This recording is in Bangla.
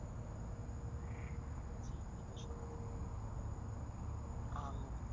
যে এটা সত্য আম